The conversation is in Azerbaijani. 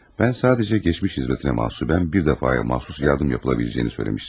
Mən sadəcə keçmiş xidmətinə məxsusən bir dəfəyə məxsus yardım yapıla biləcəyini söyləmişdim.